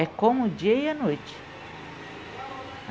É como o dia e a noite.